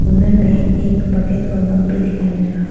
अंदर में एक बकेट और मग भी दिखाई मिल रहा है।